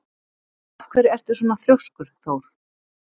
Af hverju ertu svona þrjóskur, Thór?